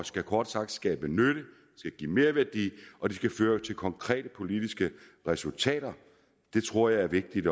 skal kort sagt skabe nytte og give merværdi og det skal føre til konkrete politiske resultater det tror jeg er vigtigt